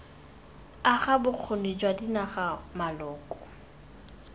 aga bokgoni jwa dinaga maloko